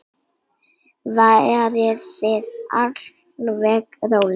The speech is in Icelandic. Verið þið alveg róleg.